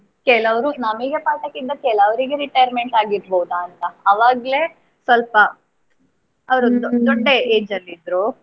ಹ್ಮ್ ಕೆಲವ್ರು ನಮಿಗೆ ಪಾಠಕ್ಕಿದ್ದ ಕೆಲವ್ರಿಗೆ retirement ಆಗಿರ್ಬೋದಾ ಅಂತ. ಆವಾಗ್ಲೇ ಸ್ವಲ್ಪ ಅವ್ರು ದೊಡ್ಡ ದೊಡ್ಡ age ಅಲ್ಲಿ ಇದ್ರು.